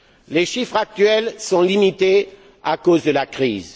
Les chiffres actuels sont limités à cause de la crise.